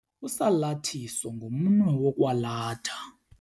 Usalathiso ngumnwe wokwalatha.